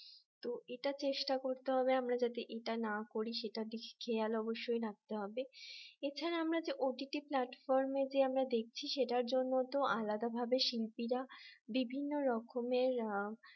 তো এটা চেষ্টা করতে হবে আমরা যাতে এটা না করি সেটা দেখে খেয়াল অবশ্যই রাখতে হবে এছাড়া আমরা যে OTT platform যে আমরা দেখছি সেটার জন্য তো আলাদাভাবে শিল্পীরা বিভিন্ন রকমের